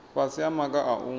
fhasi ha maga a u